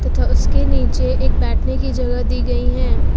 तथा उसके नीचे एक बैठने की जगह दी गई है।